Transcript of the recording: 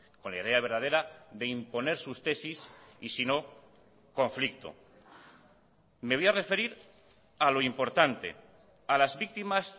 con la idea verdadera de imponer sus tesis y si no conflicto me voy a referir a lo importante a las víctimas